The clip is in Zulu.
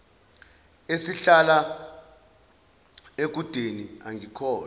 esihlala ekudeni angikholwa